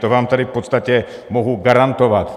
To vám tady v podstatě mohu garantovat.